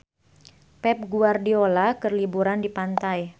Pep Guardiola keur liburan di pantai